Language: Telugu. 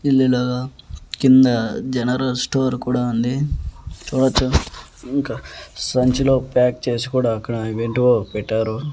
పిల్లలు కింద జనరల్ స్టోర్ కూడా ఉంది చూడొచ్చు ఇంకా సంచిలో ప్యాక్ చేసి కూడా అక్కడ అవేంటివో పెట్టారు.